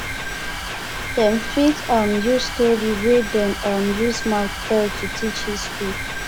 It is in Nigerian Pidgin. dem fit um use story wey dem um use mouth tell to teach history